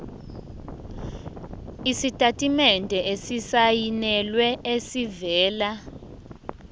isitatimende esisayinelwe esivela